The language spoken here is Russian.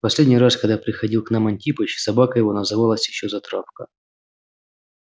последний раз когда приходил к нам антипыч собака его называлась ещё затравка